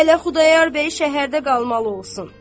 Hələ Xudayar bəy şəhərdə qalmalı olsun.